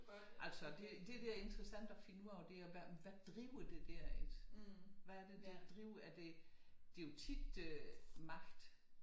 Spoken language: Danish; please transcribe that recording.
Altså det der er interessant at finde ud af det er hvad driver det der hvad er det der driver det er jo tit øh magt